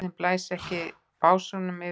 Dauðinn blæs ekki í básúnum fyrir sér.